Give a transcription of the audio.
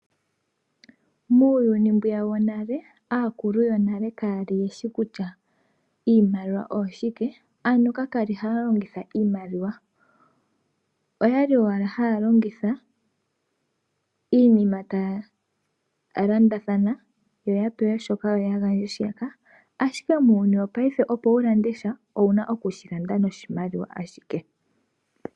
Muuyuni mbwiya wonale, aakulu yonale ka ya li ye shi kutya iimaliwa oshike, no ka kwa li ha ya longitha iimaliwa. Oya li owala ha ya longitha, iinima ta ya landathana, yo ya pewe shoka, yo ya gandje shiyaka, ashike muuyuni wopaife opo wu lande sha, ouna oku shi landa noshimaliwa ashike.